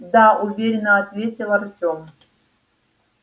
да уверенно ответил артём